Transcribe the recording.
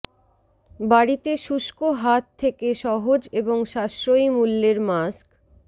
বাড়িতে শুষ্ক হাত থেকে সহজ এবং সাশ্রয়ী মূল্যের মাস্ক